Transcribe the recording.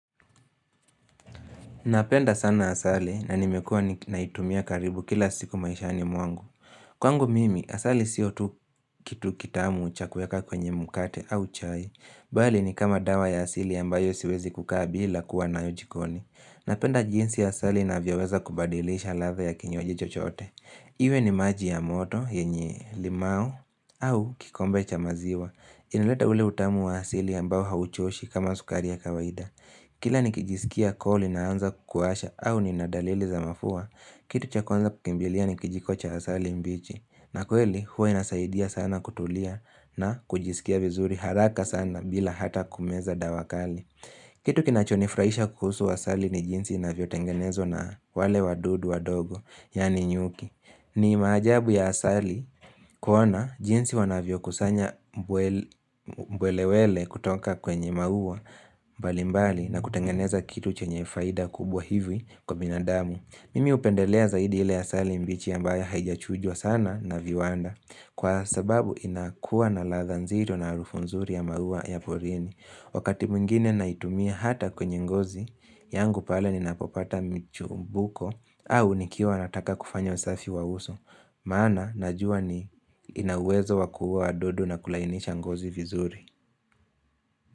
Napenda sana asali na nimekua ninaitumia karibu kila siku maishani mwangu. Kwangu mimi, asali sio tu kitu kitamu cha kuweka kwenye mkate au chai. Bali ni kama dawa ya asili ambayo siwezi kukaa bila kuwa nayo jikoni. Napenda jinsi asali inavyoweza kubadilisha ladha ya kinywaji chochote. Iwe ni maji ya moto yenye limau au kikombe cha maziwa. Inaleta ule utamu wa asili ambayo hauchoshi kama sukaria ya kawaida. Kila nikijisikia koo linaanza kuwasha au ninadalili za mafua, kitu cha kwanza kukimbilia ni kijiko cha asali mbichi. Na kweli, huwa inasaidia sana kutulia na kujisikia vizuri haraka sana bila hata kumeza dawa kali. Kitu kinachonifurahisha kuhusu asali ni jinsi inavyotengenezwa na wale wadudu wadogo, yani nyuki. Ni maajabu ya asali kuona jinsi wanavyokusanya mbwel mbwelewele kutoka kwenye maua mbalimbali na kutengeneza kitu chenye faida kubwa hivi kwa binadamu. Mimi hupendelea zaidi ile asali mbichi ya ambayo haijachujwa sana na viwanda kwa sababu inakuwa na latha nzito na harufu nzuri ya maua ya polini. Wakati mwingine naitumia hata kwenye ngozi, yangu pale ninapopata michumbuko au nikiwa nataka kufanya usafi wa uso. Maana, najua ni inawezo wakuua wadudu na kulainisha ngozi vizuri.